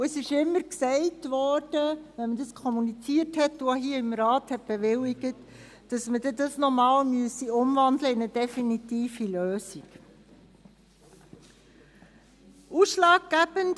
Jedes Mal, wenn diese kommuniziert und hier im Rat bewilligt wurden, wurde gesagt, diese müssten einmal in eine definitive Lösung umgewandelt werden.